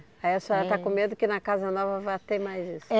Aí a senhora está com medo que na casa nova vai ter mais isso. É